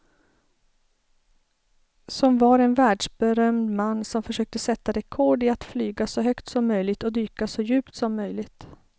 Som var en världsberömd man som försökte sätta rekord i att flyga så högt som möjligt och dyka så djupt som möjligt.